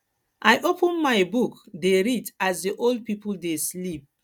i open my book dey read as the old people dey sleep